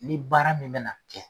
Ni baara min bɛ na kɛ.